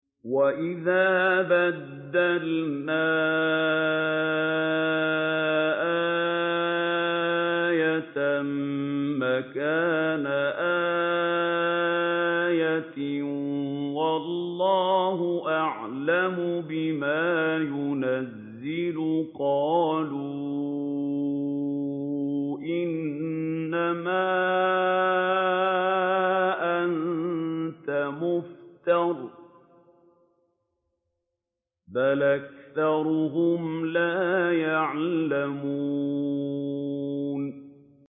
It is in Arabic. وَإِذَا بَدَّلْنَا آيَةً مَّكَانَ آيَةٍ ۙ وَاللَّهُ أَعْلَمُ بِمَا يُنَزِّلُ قَالُوا إِنَّمَا أَنتَ مُفْتَرٍ ۚ بَلْ أَكْثَرُهُمْ لَا يَعْلَمُونَ